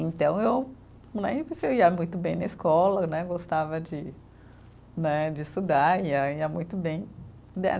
Então, eu né, ia muito bem na escola né, gostava de né, de estudar, e aí ia muito bem.